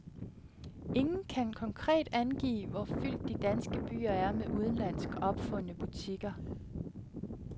Ingen kan konkret angive, hvor fyldt de danske byer er med udenlandsk opfundne butikker.